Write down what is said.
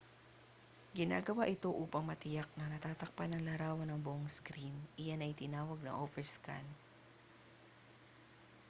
ginagawa ito upang matiyak na natatakpan ng larawan ang buong screen iyan ay tinatawag na overscan